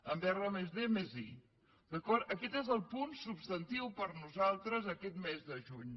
en r+d+i d’acord aquest és el punt substantiu per nosaltres aquest mes de juny